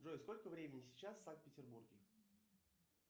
джой сколько времени сейчас в санкт петербурге